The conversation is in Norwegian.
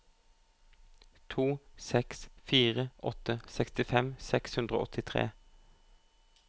to seks fire åtte sekstifem seks hundre og åttitre